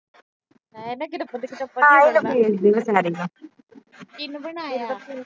ਕਿਹਨੇ ਬਣਾਇਆ।